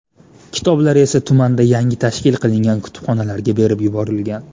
Kitoblari esa tumanda yangi tashkil qilingan kutubxonalarga berib yuborilgan.